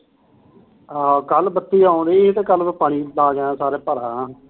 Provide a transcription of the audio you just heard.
ਆਹੋ ਕੱਲ ਬੱਤੀ ਆਉਣ ਡੀ ਕੱਲ ਪਾਣੀ ਲਾਕੇ ਆਇਆ ਠੀਕੇ